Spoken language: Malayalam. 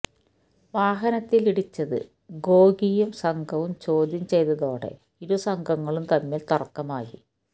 വാഹനത്തിൽ ഇടിച്ചത് ഗോഗിയും സംഘവും ചോദ്യം ചെയ്തതോടെ ഇരുസംഘങ്ങളും തമ്മിൽ തർക്കമായി